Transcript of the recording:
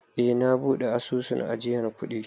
Eh, na buɗe asusun ajiyan kuɗi.